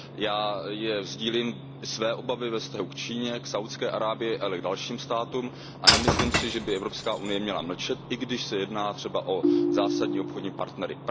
Já sdílím své obavy ve vztahu k Číně, k Saudské Arábii, ale i k dalším státům a nemyslím si, že by Evropská unie měla mlčet, i když se jedná třeba o zásadní obchodní partnery.